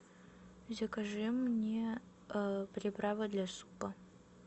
закажи мне приправы для супа